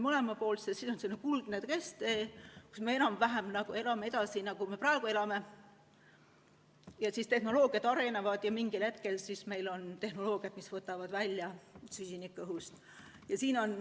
See on selline kuldne kesktee, kus me enam-vähem elame edasi, nagu me praegu elame, tehnoloogiad arenevad ja mingil hetkel meil on tehnoloogiad, mis võtavad süsiniku õhust välja.